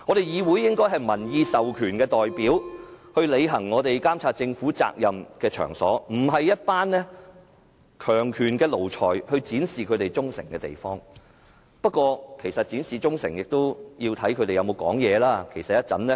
議會應該是民意代表履行監察政府責任的場所，而不是一班服從強權的奴才展示忠誠的地方，不過是否要展示忠誠，也要取決於建制派議員有否發言。